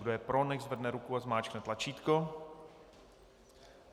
Kdo je, pro, nechť zvedne ruku a zmáčkne tlačítko.